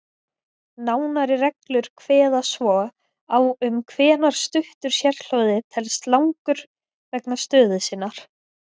Nánari reglur kveða svo á um hvenær stuttur sérhljóði telst langur vegna stöðu sinnar.